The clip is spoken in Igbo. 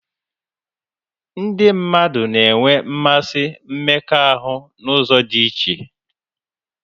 Ndị mmadụ na-enwe mmasị mmekọahụ n'ụzọ dị iche